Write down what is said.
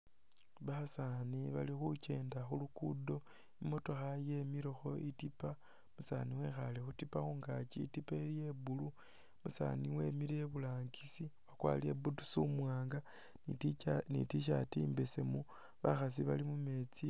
Basaani bali khukenda khu lugudo ,emotooka yemilekho itipa , umusaani wekhaale khu tipa khungakyi, itipa ili iya blue, umusaani wemile iburangisi wakwarire boots umuwaanga ni tshirt imbesemu , bakhasi bali mumeetsi.